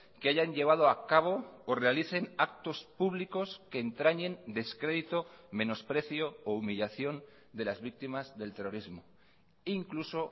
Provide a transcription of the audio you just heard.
que hayan llevado a cabo o realicen actos públicos que entrañen descrédito menosprecio o humillación de las víctimas del terrorismo incluso